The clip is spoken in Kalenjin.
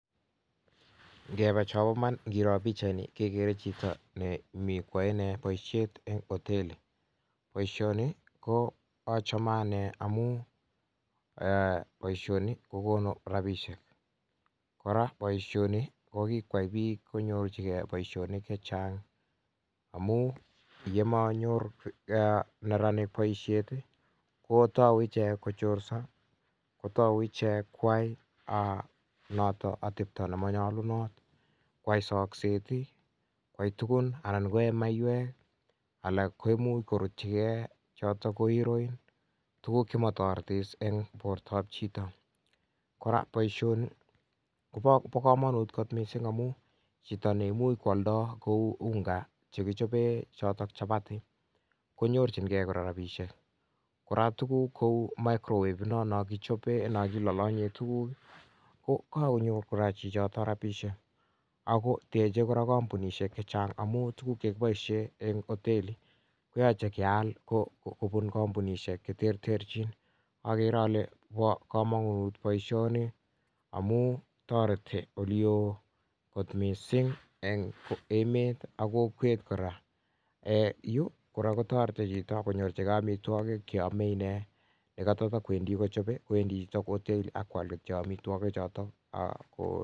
ngepaaaa chaa paiman igere chito nemitei koaee poisheet eng amunn ngomanyoor neraniik rapisheek kotauu kochorshee ako manyalunat missing ako kora tuguuk cheuu chotok choo komagat keal enng kampunisheek cheterter kora pa kamanut keai poishanitok missing